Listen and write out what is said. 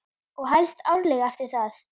Og helst árlega eftir það.